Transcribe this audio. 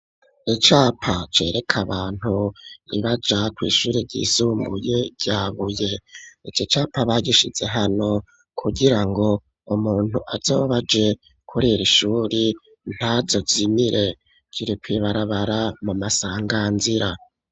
Icapa cereka abantu baja ku ishuri ryisumbuye Ryabuye iki capa bagishize hano kugira ngo umuntu azoba aje kuriri shuri ntazozimire kiri kw"ibarabara mu masanganzira.